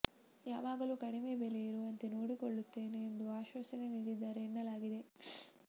ಯಾವಾಗಲೂ ಕಡಿಮೆ ಬೆಲೆ ಇರುವಂತೆ ನೋಡಿಕೊಳ್ಳುತ್ತೇನೆ ಎಂದು ಆಶ್ವಾಸನೆ ನೀಡಿದ್ದಾರೆ ಎನ್ನಲಾಗಿದೆ